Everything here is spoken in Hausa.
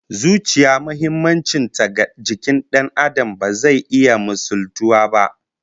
Zuciya muhimmancin ta ga jikin Dan Adam ba zai iya misaltuwa ba